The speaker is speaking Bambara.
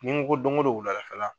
Ni ko don ko don wula da fɛ la.